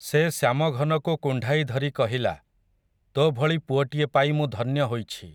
ସେ ଶ୍ୟାମଘନକୁ କୁଣ୍ଢାଇ ଧରି କହିଲା, ତୋ ଭଳି ପୁଅଟିଏ ପାଇ ମୁଁ ଧନ୍ୟ ହୋଇଛି ।